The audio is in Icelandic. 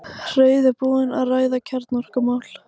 Reiðubúinn að ræða kjarnorkumál